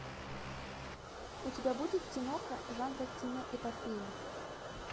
у тебя будет киноха жанра киноэпопея